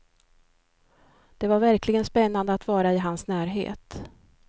Det var verkligen spännande att vara i hans närhet.